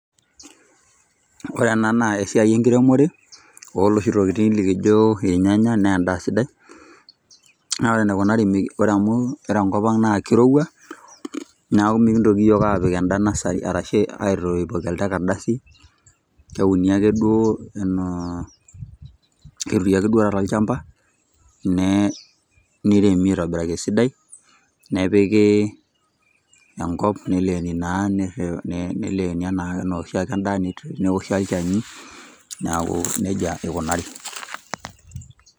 Ore ena naa esiai enkiremore, oloshi tokiting likijo irnyanya, na endaa sidai. Na ore enikunari ore amu ore enkop na kirowua, neeku mikintoki yiok apik enda nasari arashi aitoipoki elde kardasi. Keturi duo ake taata olchamba, niremi aitobiraki esidai, nepiki enkop, neleeni naa neleeni enaa oshiake endaa, neoshi olchani, neeku nejia ikunari.